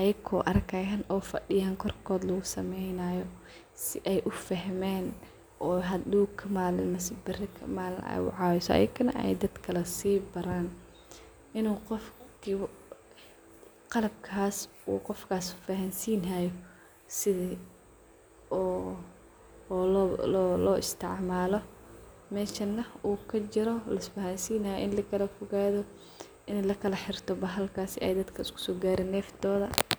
ayago arkayana si ay usameyn ay hadow kamalin ama beri kamalin ay dadaka baran ayagana,. Marka arintas muhimad weyn ay uledahay bulashada in uu qofkas fahansinayo sidhuu oo lo istismalo meshana uu kajiro in lakalafogato in lakala xirto si ay dadka neftodha iskusogarin.